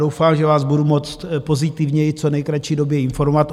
Doufám, že vás budu moct pozitivněji v co nejkratší době informovat.